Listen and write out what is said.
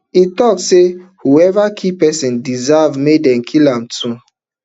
im tok say whoever kill pesin deserve make dem kill am too